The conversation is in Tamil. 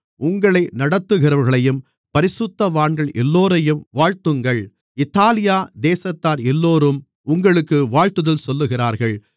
உங்களை நடத்துகிறவர்களையும் பரிசுத்தவான்கள் எல்லோரையும் வாழ்த்துங்கள் இத்தாலியா தேசத்தார் எல்லோரும் உங்களுக்கு வாழ்த்துதல் சொல்லுகிறார்கள்